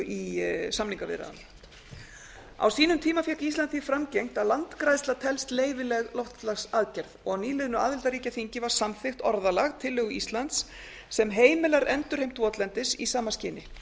í samningaviðræðum um á sínum tíma fékk ísland því framgengt að landgræðsla telst leyfileg loftslagsaðgerð og á nýliðnu aðildarríkjaþingi var samþykkt orðalag tillögu íslands sem heimilar endurheimt votlendis í sama skyni